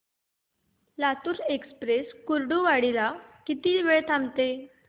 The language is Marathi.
लातूर एक्सप्रेस कुर्डुवाडी ला किती वेळ थांबते